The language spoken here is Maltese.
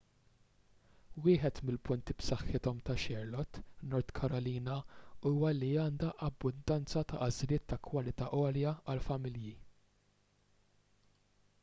wieħed mill-punti b'saħħithom ta' charlotte north carolina huwa li għandha abbundanza ta' għażliet ta' kwalità għolja għall-familji